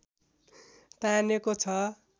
तानेको छ